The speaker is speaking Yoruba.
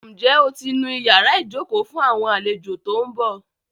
Ǹjẹ́ o ti nu ìyára ìjókòó fún àwọn àlejò tó ń bọ̀?